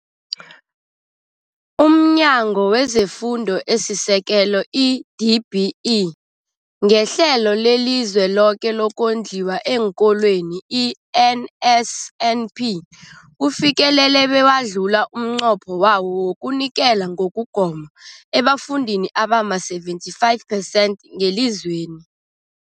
UmNyango wezeFundo esiSekelo, i-DBE, ngeHlelo leliZweloke lokoNdliwa eenKolweni, i-NSNP, ufikelele bewadlula umnqopho wawo wokunikela ngokugoma ebafundini abama-75 percent ngelizweni.